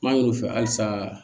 An y'u fɛ halisa